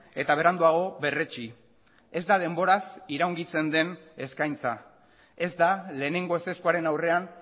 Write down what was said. eta beranduago berretsi ez da denboraz iraungitzen den eskaintza ez da lehenengo ezezkoaren aurrean